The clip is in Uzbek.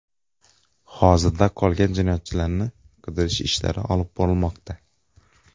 Hozirda qolgan jinoyatchilarni qidirish ishlari olib borilmoqda.